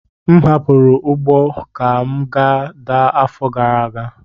M hapụrụ ugbo ka m daa afọ gara aga.